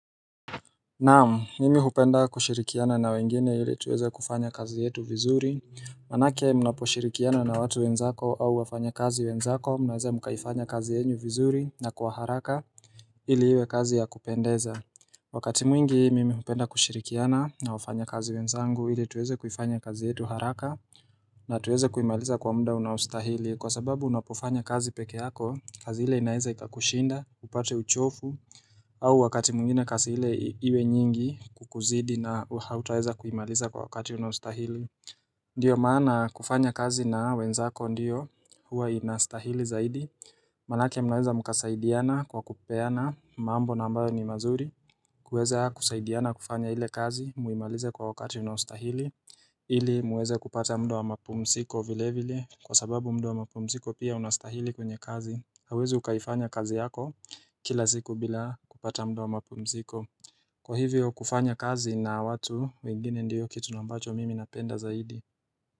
Naam, mimi hupenda kushirikiana na wengine ili tuweze kufanya kazi yetu vizuri Manake mnaposhirikiana na watu wenzako au wafanya kazi wenzako mnaweza mukaifanya kazi yenyu vizuri na kwa haraka ili iwe kazi ya kupendeza Wakati mwingi mimi hupenda kushirikiana na wafanya kazi wenzangu ili tuweze kufanya kazi yetu haraka na tuweza kuimaliza kwa mda unaostahili kwa sababu unapofanya kazi peke yako kazi ile inaweza ikakushinda, upate uchofu au wakati mwingine kazi hile iwe nyingi kukuzidi na hautaweza kuimaliza kwa wakati unaostahili Ndiyo maana kufanya kazi na wenzako ndiyo huwa inastahili zaidi Manake mnaweza mkasaidiana kwa kupeana mambo na ambayo ni mazuri kuweza kusaidiana kufanya ile kazi muimalize kwa wakati unaostahili ili muweze kupata mda wa mapumsiko vile vile kwa sababu mda wa mapumsiko pia unastahili kwenye kazi hauwezi ukaifanya kazi yako Kila ziku bila kupata mda wa mapumziko Kwa hivyo kufanya kazi na watu wengine ndiyo kitu nambacho mimi napenda zaidi.